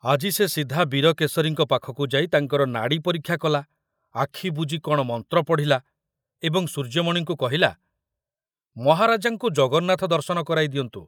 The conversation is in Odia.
ଆଜି ସେ ସିଧା ବୀରକେଶରୀଙ୍କ ପାଖକୁ ଯାଇ ତାଙ୍କର ନାଡ଼ି ପରୀକ୍ଷା କଲା, ଆଖୁ ବୁଜି କଣ ମନ୍ତ୍ର ପଢ଼ିଲା, ଏବଂ ସୂର୍ଯ୍ୟମଣିଙ୍କୁ କହିଲା, ମହାରାଜାଙ୍କୁ ଜଗନ୍ନାଥଙ୍କ ଦର୍ଶନ କରାଇ ଦିଅନ୍ତୁ।